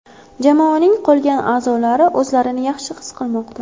Jamoaning qolgan a’zolari o‘zlarini yaxshi his qilmoqda.